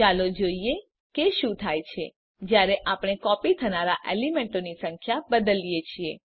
ચાલો જોઈએ કે શું થાય છે જયારે આપણે કોપી થનારા એલીમેન્તોની સંખ્યા બદલીએ છીએ